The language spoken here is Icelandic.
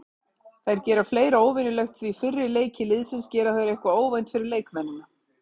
Þær gera fleira óvenjulegt því fyrir leiki liðsins gera þær eitthvað óvænt fyrir leikmennina.